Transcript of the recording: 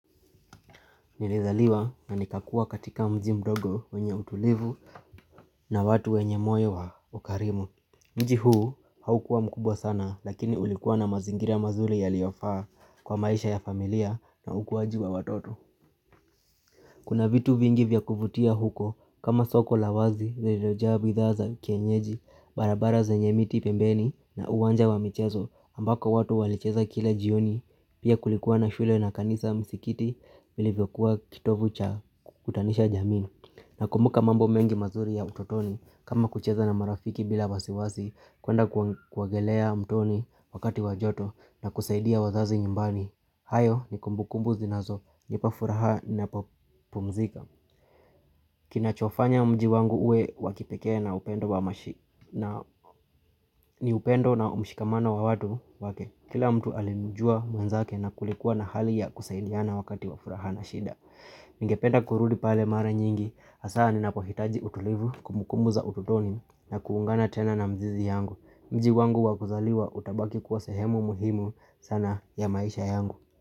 Nilizaliwa na nikakua katika mji mdogo wenye utulivu na watu wenye moyo wa ukarimu Mji huu haukuwa mkubwa sana lakini ulikuwa na mazingira mazuri ya yaliyofaa kwa maisha ya familia na ukuwaji wa watoto Kuna vitu vingi vya kuvutia huko kama soko la wazi lililojaa bidhaa za kienyeji barabara zenye miti pembeni na uwanja wa michezo ambako watu walicheza kile jioni pia kulikuwa na shule na kanisa msikiti vilivyokuwa kitovu cha kutanisha jamii. Na kumbuka mambo mengi mazuri ya utotoni kama kucheza na marafiki bila wasiwasi kuenda kuogelea mtoni wakati wa joto na kusaidia wazazi nyumbani. Hayo ni kumbukumbu zinazo, nipa furaha ninapo pumzika Kinachofanya mji wangu uwe wakipeke na upendo wa mashik na ni upendo na mshikamano wa watu wake Kila mtu alimjua mwenzake na kulikuwa na hali ya kusaidiana wakati wafuraha na shida Ningependa kurudi pale mara nyingi hasaa ninapohitaji utulivu kumbukumbu za ututoni na kuungana tena na mzizi yangu Mji wangu wa kuzaliwa utabaki kuwa sehemu muhimu sana ya maisha yangu.